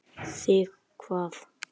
Þig hvað?